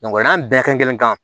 n'an bɛɛ kɛrɛn kelen